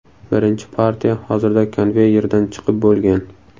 Birinchi partiya hozirda konveyerdan chiqib bo‘lgan.